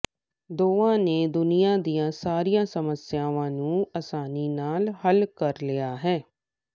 ਦੋਵਾਂ ਨੇ ਦੁਨੀਆ ਦੀਆਂ ਸਾਰੀਆਂ ਸਮੱਸਿਆਵਾਂ ਨੂੰ ਆਸਾਨੀ ਨਾਲ ਹੱਲ ਕਰ ਲਿਆ ਹੈ